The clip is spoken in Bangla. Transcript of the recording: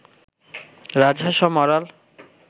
রাজহাঁস ও মরাল